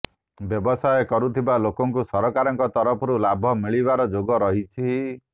ବ୍ୟବସାୟ କରୁଥିବା ଲୋକଙ୍କୁ ସରକାରଙ୍କ ତରଫରୁ ଲାଭ ମିଳିବାର ଯୋଗ ରହିଛି